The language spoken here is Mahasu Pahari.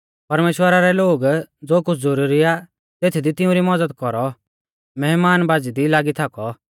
परमेश्‍वरा रै लोग ज़ो कुछ़ ज़ुरुरी आ तेथदी तिऊं री मज़द कौरौ मैहमानबाज़ी दी लागी थाकौ